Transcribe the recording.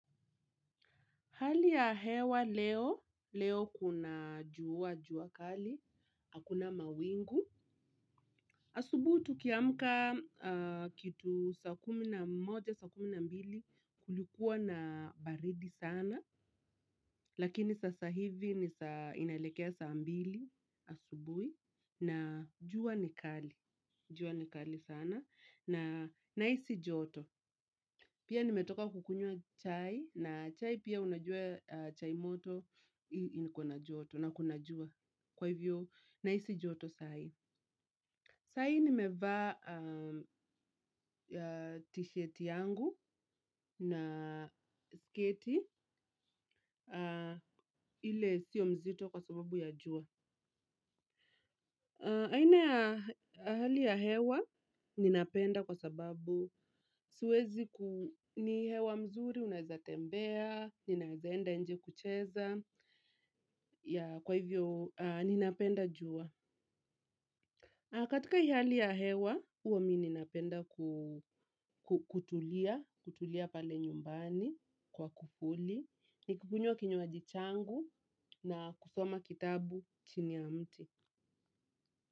Hali ya hewa leo, leo kuna jua, jua kali, hakuna mawingu. Asubuhi tukiamka kitu saa kumi na moja, saa kumi na mbili kulikuwa na baridi sana. Lakini sasa hivi inaelekea saa mbili asubuhi na jua ni kali, jua ni kali sana. Na nahisi joto. Pia nimetoka kukunywa chai. Na chai pia unajua chai moto iko na joto. Na kuna jua. Kwa hivyo, nahisi joto saa hii. Saa hii nimevaa t-shirt yangu na sketi. Ile sio mzito kwa sababu ya jua. Aina ya hali ya hewa ninapenda kwa sababu siwezi ni hewa mzuri, unaweza tembea, ninaeza enda nje kucheza, kwa hivyo ninapenda jua. Katika hii hali ya hewa, huwa mi ninapenda kutulia, kutulia pale nyumbani kwa kuvuli, nikikunywa kinywaji changu na kusoma kitabu chini ya mti.